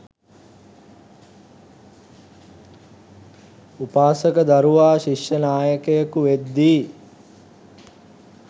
උපාසක දරුවා ශිෂ්‍යනායකයකු වෙද්දී